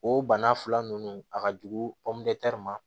O bana fila ninnu a ka jugu ma